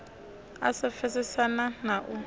u sa pfesesana na u